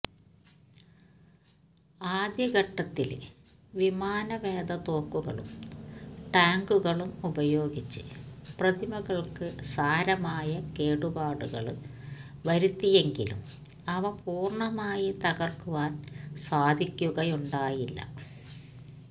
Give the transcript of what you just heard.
ആദ്യഘട്ടത്തില് വിമാനവേധ തോക്കുകളും ടാങ്കുകളും ഉപയോഗിച്ച് പ്രതിമകള്ക്ക് സാരമായ കേടുപാടുകള് വരുത്തിയെങ്കിലും അവ പൂര്ണമായി തകര്ക്കുവാന് സാധിക്കുകയുണ്ടായില്ല